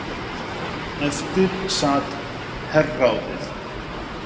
Eftir sat herráðið.